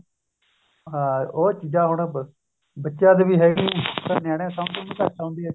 ਹਾਂ ਉਹ ਚੀਜ਼ਾਂ ਹੁਣ ਬੱਚਿਆਂ ਨੂੰ ਵੀ ਹੈਗੀ ਇੱਕ ਤਾਂ ਨਿਆਣੇ ਨੂੰ ਸਮਝ ਵੀ ਘੱਟ ਆਉਦੀ ਹੈ